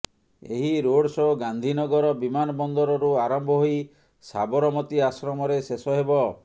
ଏହି road show Gandhinagar ବିମାନବନ୍ଦରରୁ ଆରମ୍ଭ ହୋଇ ସାବରମତୀ ଆଶ୍ରମରେ ଶେଷ ହେବ